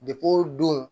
o don